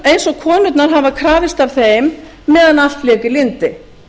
eins og konurnar hafa krafist af þeim meðan allt lék í lyndi